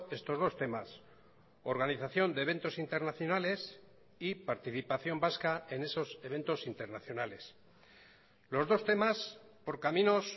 estos dos temas organización de eventos internacionales y participación vasca en esos eventos internacionales los dos temas por caminos